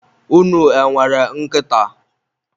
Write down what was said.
unu e nwere nkịta?